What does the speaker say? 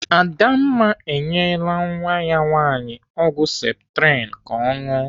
Adamma enyela nwa ya nwaanyị ọgwụ septrin ka ọ ṅụọ.